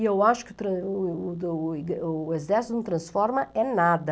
E eu acho que trans o do o exército não transforma é nada.